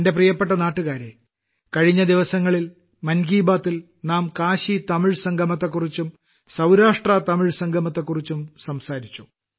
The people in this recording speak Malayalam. എന്റെ പ്രിയപ്പെട്ട നാട്ടുകാരേ കഴിഞ്ഞ ദിവസങ്ങളിൽ മൻ കി ബാത്തിൽ നാം കാശീതമിഴ് സംഗമത്തെക്കുറിച്ചും സൌരാഷ്ട്രതമിഴ് സംഗമത്തെക്കുറിച്ചും സംസാരിച്ചു